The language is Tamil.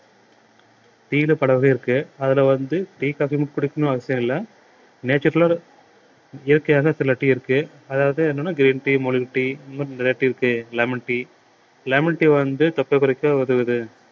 tea ல பல வகை இருக்கு அதுல வந்து tea coffee யும் குடிக்கணும்ன்னு அவசியம் இல்லை natural ல இயற்கையாக சில tea இருக்கு அதாவது என்னன்னா green tea மூலிகை tea இந்த மாறி நிறைய tea இருக்கு lemon tea lemon tea வந்து தொப்பை குறைக்க உதவுது